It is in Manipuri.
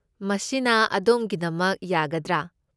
ꯃꯁꯤꯅ ꯑꯗꯣꯝꯒꯤꯗꯃꯛ ꯌꯥꯒꯗ꯭ꯔꯥ?